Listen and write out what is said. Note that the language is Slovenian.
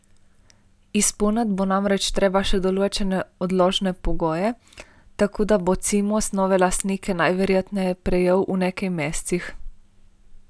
Izpolniti bo namreč treba še določene odložne pogoje, tako da bo Cimos nove lastnike najverjetneje prejel v nekaj mesecih.